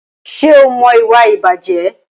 Ṣé o mọ ìwà ìbàjẹ́?